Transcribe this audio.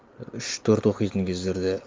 үш төрт оқитын кездерде